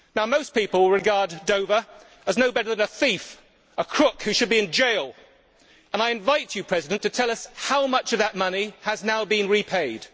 Most people regard Dover as no better than a thief, a crook who should be in jail, and I invite you, Mr President, to tell us how much of that money has now been repaid.